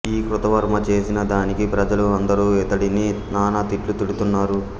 ఈ కృతవర్మ చేసిన దానికి ప్రజలు అందరూ ఇతడిని నానా తిట్లు తిడుతున్నారు